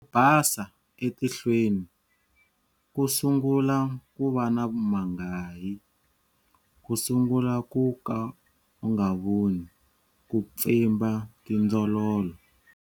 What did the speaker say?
Basa etihlweni, ku sungula ku va na mangayi, ku sungula ku ka u nga voni, ku pfimba tindzololo.